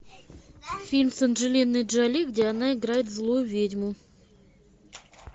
фильм с анджелиной джоли где она играет злую ведьму